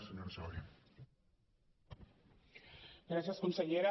gràcies consellera